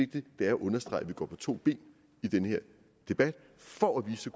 det er at understrege at vi går på to ben i den her debat for at vise